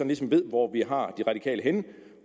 ligesom ved hvor vi har de radikale henne